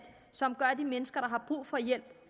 som gør at de mennesker der har brug for hjælp